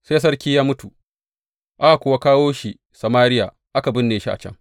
Sai sarki ya mutu, aka kuwa kawo shi Samariya, aka binne shi a can.